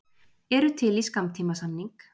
Eru til í skammtímasamning